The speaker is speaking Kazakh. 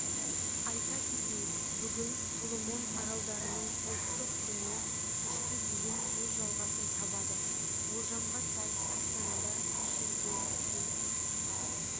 айта кетейік бүгін соломон аралдарының ұлттық күні кешке дейін өз жалғасын табады болжамға сай астанада шілдеде